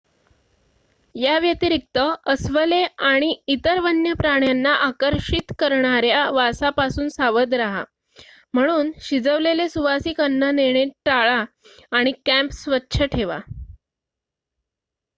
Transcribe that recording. याव्यतिरिक्त अस्वले आणि इतर वन्य प्राण्यांना आकर्षित करणाऱ्या वासापासून सावध रहा म्हणून शिजवलेले सुवासिक अन्न नेणे टाळा आणि कॅम्प स्वच्छ ठेवा